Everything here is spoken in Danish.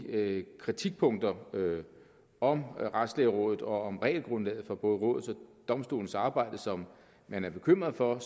kritikpunkter om retslægerådet og regelgrundlaget for både rådets og domstolenes arbejde som man er bekymret for